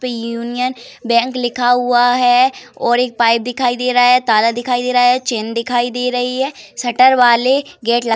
Union bank लिखा हुआ है और एक पाइप दिखाई दे रहा है। ताला दिखाई दे रहा है। चैन दिखाई दे रही है। शटर वाले गेट लगा --